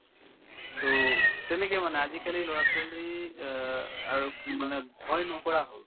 to তেনেকে মানে আজিকালিৰ ল'ৰা-ছোৱালীৰ অ আৰু মানে ভয় নকৰা হ'ল